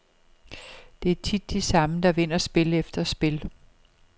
Det er tit de samme, der vinder spil efter spil.